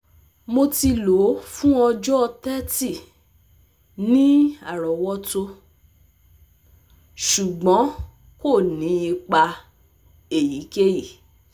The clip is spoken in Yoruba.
Mo ti lo fun ọjọ 30 ni arowoto, ṣugbọn ko ni ipa eyikeyi